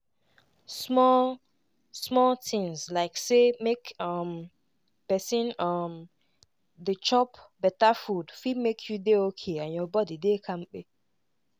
small-small tinz like say make um pesin um dey chop beta food fit make you dey okay and your body dey kampe.